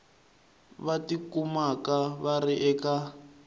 va tikumaka va ri eka